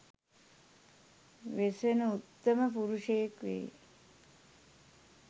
වෙසෙන උත්තම පුරුෂයෙක් වෙයි.